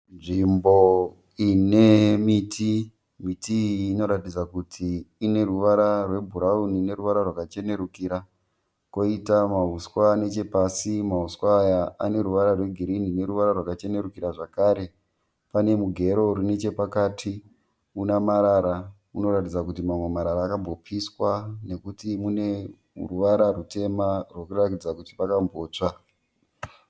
Nzvimbo ine miti, miti iyi inoratidza kuti ine ruvara rwebhurawuni neruvara rwakachenurikira koita mahuswa nechepasi, mahuswa aya ane ruvara rwegirini neruvara rwakachenurikira zvakare pane mugero uri nechapakati una marara unoratidza kuti mamwe marara akambopiswa nekuti mune ruvara rutema rwekuratidza kuti pakambotsva.